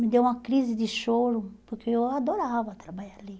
Me deu uma crise de choro, porque eu adorava trabalhar ali.